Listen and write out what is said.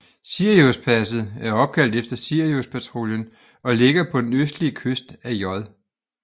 Siriuspasset er opkaldt efter Siriuspatruljen og ligger på den østlige kyst af J